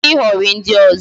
Kwụsị ịhọrị ndị ọzọ